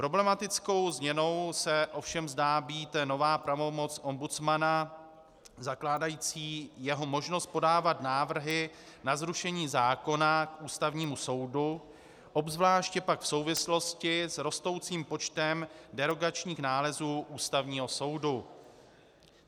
Problematickou změnou se ovšem zdá být nová pravomoc ombudsmana zakládající jeho možnost podávat návrhy na zrušení zákona k Ústavnímu soudu, obzvláště pak v souvislosti s rostoucím počtem derogačních nálezů Ústavního soudu.